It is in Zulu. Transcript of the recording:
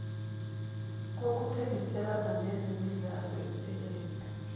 kokuthengiselana ngezemidlalo empeleni